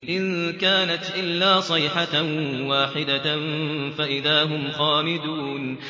إِن كَانَتْ إِلَّا صَيْحَةً وَاحِدَةً فَإِذَا هُمْ خَامِدُونَ